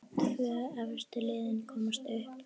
Tvö efstu liðin komast upp.